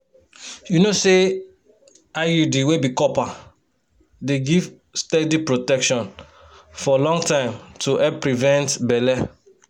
you know say iud wey be copper dey give steady protection for long time to help prevent belle.